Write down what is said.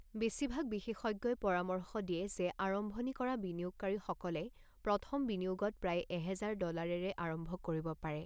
বেছিভাগ বিশেষজ্ঞই পৰামৰ্শ দিয়ে যে আৰম্ভণি কৰা বিনিয়োগকাৰীসকলে প্ৰথম বিনিয়োগত প্ৰায় এহেজাৰ ডলাৰেৰে আৰম্ভ কৰিব পাৰে।